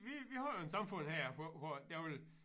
Vi vi har jo en samfund her hvor hvor jeg ville